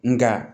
Nga